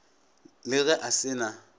le ge a se na